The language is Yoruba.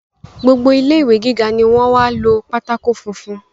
Gbogbo ilé ìwé gíga ni wọ́n wá lo pátákó funfun